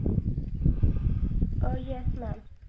अह yes mam.